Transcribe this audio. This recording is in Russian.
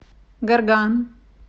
горган